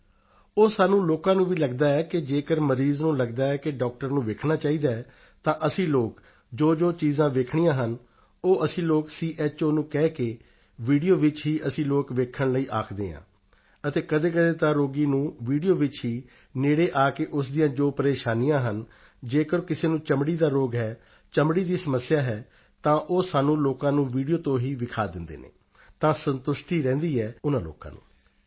ਜੀ ਉਹ ਸਾਨੂੰ ਲੋਕਾਂ ਨੂੰ ਵੀ ਲਗਦਾ ਹੈ ਕਿ ਜੇਕਰ ਮਰੀਜ਼ ਨੂੰ ਲਗਦਾ ਹੈ ਕਿ ਡਾਕਟਰ ਨੂੰ ਵੇਖਣਾ ਚਾਹੀਦਾ ਹੈ ਤਾਂ ਅਸੀਂ ਲੋਕ ਜੋਜੋ ਚੀਜ਼ਾਂ ਵੇਖਣੀਆਂ ਹਨ ਉਹ ਅਸੀਂ ਲੋਕ ਸੀਐੱਚਓ ਨੂੰ ਕਹਿ ਕੇ ਵੀਡੀਓ ਵਿੱਚ ਹੀ ਅਸੀਂ ਲੋਕ ਦੇਖਣ ਲਈ ਆਖਦੇ ਹਾਂ ਅਤੇ ਕਦੇਕਦੇ ਤਾਂ ਰੋਗੀ ਨੂੰ ਵੀਡੀਓ ਵਿੱਚ ਹੀ ਨੇੜੇ ਆ ਕੇ ਉਸ ਦੀਆਂ ਜੋ ਪਰੇਸ਼ਾਨੀਆਂ ਹਨ ਜੇਕਰ ਕਿਸੇ ਨੂੰ ਚਮੜੀ ਦਾ ਰੋਗ ਹੈ ਚਮੜੀ ਦੀ ਸਮੱਸਿਆ ਹੈ ਤਾਂ ਉਹ ਸਾਨੂੰ ਲੋਕਾਂ ਨੂੰ ਵੀਡੀਓ ਤੋਂ ਹੀ ਵਿਖਾ ਦਿੰਦੇ ਹਨ ਤਾਂ ਸੰਤੁਸ਼ਟੀ ਰਹਿੰਦੀ ਹੈ ਉਨ੍ਹਾਂ ਲੋਕਾਂ ਨੂੰ